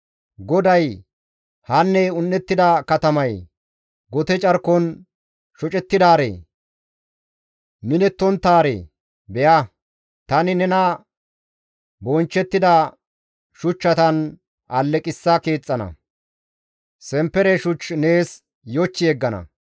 GODAY, «Hanne un7ettida katamayee! Gote carkon shocettidaaree! minettonttaaree! Be7a, tani nena bonchchettida shuchchatan alleqissa keexxana; semppere shuch nees yoch yeggana.